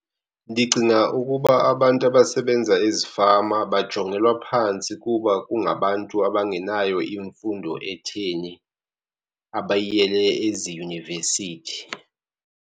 Ndicinga ukuba abantu abasebenza ezifama bajongelwa phantsi kuba kungabantu abangenayo imfundo etheni abayiyele eziyunivesithi.